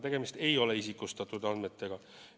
Tegemist ei ole isikustatud andmetega.